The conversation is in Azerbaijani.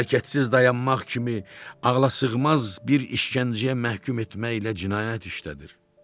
Hərəkətsiz dayanmaq kimi ağlasığmaz bir işgəncəyə məhkum etməklə cinayət işlədir.